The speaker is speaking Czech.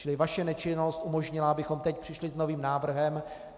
Čili vaše nečinnost umožnila, abychom teď přišli s novým návrhem.